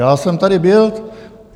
Já jsem tady byl.